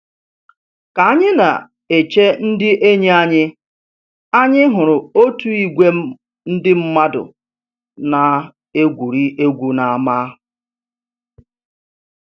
Ka anyị na-eche ndị enyi anyị, anyị hụrụ otu ìgwè ndị mmadụ na-egwuri egwu n'ámá